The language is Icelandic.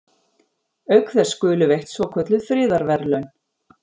Auk þess skulu veitt svokölluð friðarverðlaun.